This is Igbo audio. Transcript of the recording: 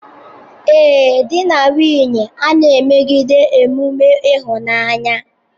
Ee, di na nwunye a na-emegide emume ịhụnanya.